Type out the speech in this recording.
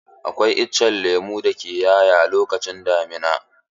Akwai itacen lemo da ke 'ya'ya lokacin damina.